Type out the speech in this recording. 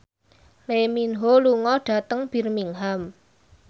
Lee Min Ho lunga dhateng Birmingham